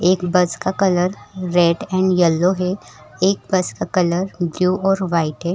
एक बस का colour red and yellow है एक बस का कलर ब्लू और वाइट है।